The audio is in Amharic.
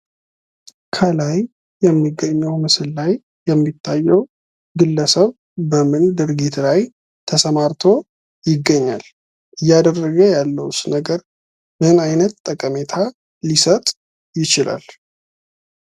ከላይ ከሚገኘው ምስል ላይ የሚታየው ግለሰብ በምን ድርጊት ላይ ተሰማርቶ ይገኛል? እያደረገ ያለውስ ነገርሰ ምን አይነት ጠቀሜታ ሊሰጥ ይችላል?